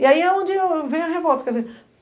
E aí é onde vem a revolta.